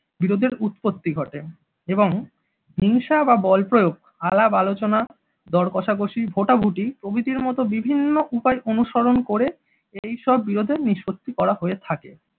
বিরোধের উৎপত্তি ঘটে এবং হিংসা বা বলপ্রয়োগ আলাপ-আলোচনা দরকষাকষি ভোটাভুটি প্রভৃতির মতো বিভিন্ন উপায় অনুসরণ করে এইসব বিরোধের নিষ্পত্তি করা হয়ে থাকে।